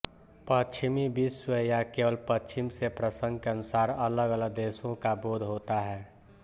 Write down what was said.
पश्चिमी विश्व या केवल पश्चिम से प्रसंग के अनुसार अलगअलग देशों का बोध होता है